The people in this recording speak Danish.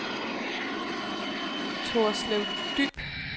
Torslev Dyb